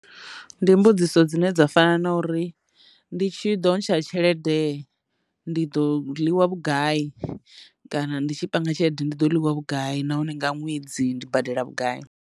Ndi mbudziso dzine dza fana na uri ndi tshi ḓo ntsha tshelede ndi ḓo ḽiwa vhugai kana ndi tshi panga tshelede ndi ḓo ḽiwa vhugai nahone nga ṅwedzi ndi badela vhugai.